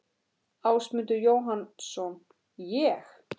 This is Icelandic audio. Ásmundur Jóhannsson: Ég?